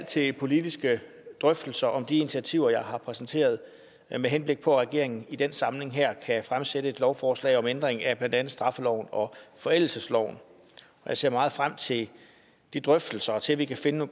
til politiske drøftelser om de initiativer jeg har præsenteret med henblik på at regeringen i den samling her kan fremsætte et lovforslag om ændring af blandt andet straffeloven og forældelsesloven jeg ser meget frem til de drøftelser og til at vi kan finde